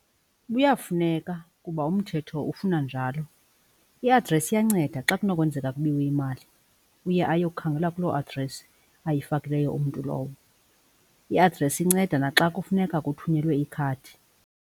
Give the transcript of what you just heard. Kuyafuneka kuba umthetho ufuna njalo. I-address iyanceda xa kunokwenzeka kubiwe imali uye ayokhangelwa kuloo address ayifakileyo umntu lowo. I-address inceda naxa kufuneka kuthunyelwe ikhadi.